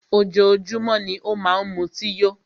Ojoójúmọ́ ni ó má n mutí yó.